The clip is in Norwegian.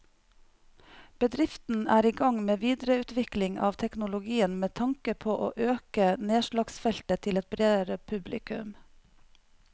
Bedriften er i gang med videreutvikling av teknologien med tanke på å øke nedslagsfeltet til et bredere publikum.